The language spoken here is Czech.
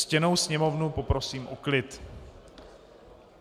Ctěnou Sněmovnu poprosím o klid.